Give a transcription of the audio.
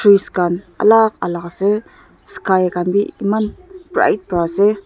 trees khan alak alak ase sky khan bi eman bright pra ase.